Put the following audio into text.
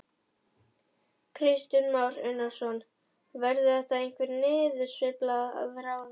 Kristján Már Unnarsson: Verður þetta einhver niðursveifla að ráði?